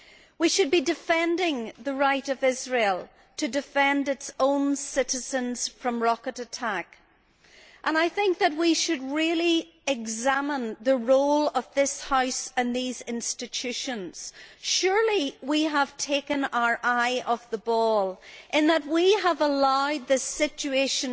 We should be defending the right of Israel to defend its own citizens from rocket attack, and I think that we should really examine the role of this House and these institutions. Surely we have taken our eye off the ball in that we have allowed this situation